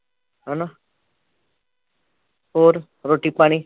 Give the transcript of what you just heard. ਹੈਨਾ ਹੋਰ ਰੋਟੀ ਪਾਣੀ